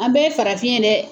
An bɛɛ farafin ye dɛ